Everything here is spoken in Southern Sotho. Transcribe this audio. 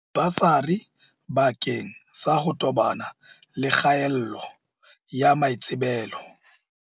Dibasari bakeng sa ho tobana le kgaello ya maitsebelo.